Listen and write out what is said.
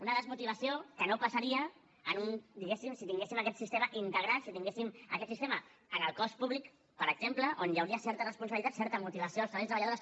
una desmotivació que no passaria diguéssim si tinguéssim aquest sistema integrat si tinguéssim aquest sistema en el cos públic per exemple on hi hauria certa responsabilitat certa motivació dels treballadors i treballadores